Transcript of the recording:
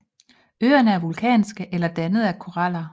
Øerne er vulkanske eller dannet af koraller